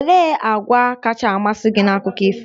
Olee àgwà kacha amasị gị na Akụkọ ifo?